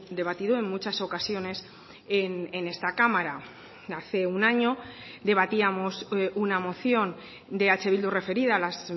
debatido en muchas ocasiones en esta cámara hace un año debatíamos una moción de eh bildu referida a las